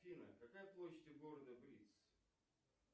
афина какая площадь у города блиц